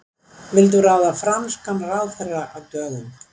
Vildu ráða franskan ráðherra af dögum